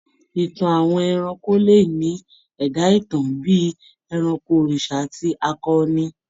Ìtàn àwọn ẹranko le ní ẹ̀dá-ìtàn bí i ẹranko, òrìṣà àti akọni.